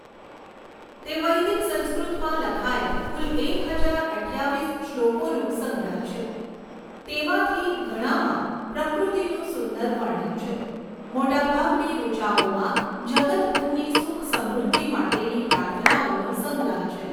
તે વૈદિક સંસ્કૃતમાં લખાયેલ કુલ એક હજાર અઠ્ઠાવીસ શ્લોકોનો સંગ્રહ છે તેમાંથી ધણામાં પ્રકૃતિનું સુંદર વર્ણન છે. મોટાભાગની ઋચાઓમાં જગતભરની સુખ સમૃદ્ધિ માટેની પ્રાર્થનાઓનો સંગ્રહ છે.